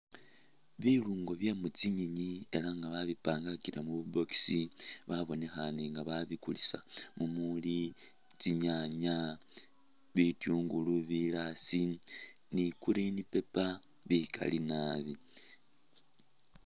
Bilungo bye mutsinyeni elah nga babipangile mutsi' box babonekhane nga babikulisa mumuli tsinyaanya, bityungulu, bilaasi ni green paper bikaali naabi